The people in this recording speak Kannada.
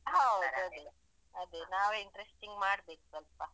ಹೌದ್ ಅದೇ ಅದೆ ನಾವೆ interesting ಮಾಡಬೇಕು ಸ್ವಲ್ಪ.